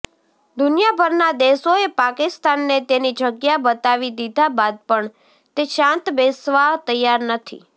દુનિયાભરના દેશોએ પાકિસ્તાનને તેની જગ્યા બતાવી દીધા બાદ પણ તે શાંત બેસવા તૈયાર નથી